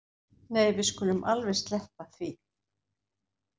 Nei við skulum alveg sleppa því